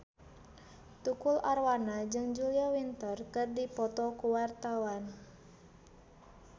Tukul Arwana jeung Julia Winter keur dipoto ku wartawan